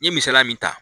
N ye misaliya min ta